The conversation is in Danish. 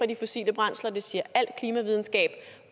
de fossile brændsler det siger al klimavidenskab